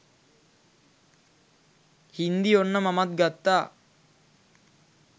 හින්දි ඔන්න මමත් ගත්තා